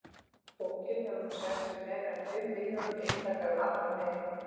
Bókin hefur nú selst í meira en fimm milljónum eintaka um allan heim.